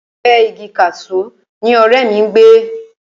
Ẹ̀gbẹ́ẹ igi kaṣú ni ọ̀rẹ́ mi ń gbé